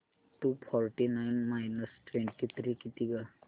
to forty nine minus twenty three किती गं